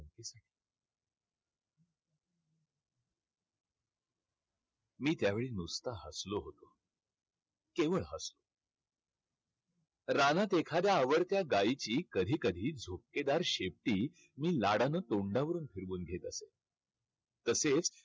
मी त्यावेळी नुसतं हसलो होतो. केवळ हसलो. रानात एखाद्या आवडत्या गाईची कधी कधी झुपकेदार शेपटी मी लाडानं तोंडावरून फिरवून घेत असत. तसेच